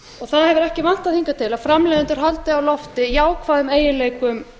það hefur ekki vantað hingað til að framleiðendur haldi á lofti jákvæðum eiginleikum